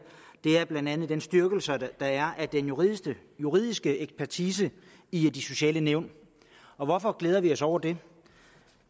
er blandt andet den styrkelse der er af den juridiske juridiske ekspertise i de sociale nævn og hvorfor glæder vi os over det